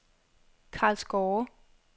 Karlsgårde